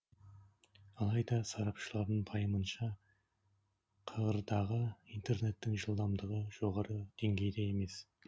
алайда сарапшылардың пайымынша қр дағы интернеттің жылдамдығы жоғары деңгейде емес